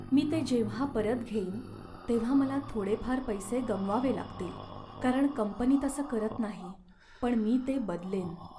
मी ते जेव्हा परत घेईन तेव्हा मला थोडेफार पैसे गमवावे लागतील कारण कंपनी तसं करत नाही, पण मी ते बदलेन.